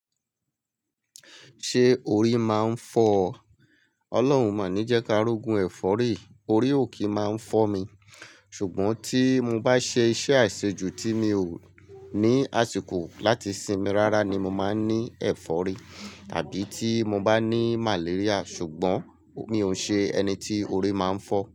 Ṣé orí máa ń fọ́ ọ? Ọlọ́run máa ni jẹ́ kí a rógún ẹ̀fọ́rí, orí ò kí máa ń fọ́ mi. Ṣùgbọ́n tí mo bá ṣe iṣẹ́ àìṣejù tí mi ò ní àsìkò láti sinmi rárá ni mo máa ń ní ẹ̀fọ́rí tàbí tí mo bá ní màléríà. Ṣùgbọ́n mi ò ṣe ẹni tí orí máa ń fọ́.